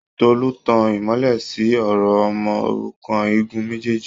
Tolú ń tan ìmọ́lẹ̀ síi ọ̀rọ̀ ọmọ òrukàn igun méjèèjì